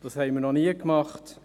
Das haben wir noch nie gemacht;